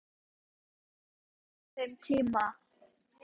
Þetta er eins og í dagdraumunum hennar.